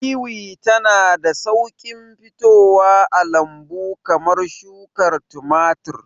Wiwi tana da sauƙin fitowa a lambu kamar shukar tumatir.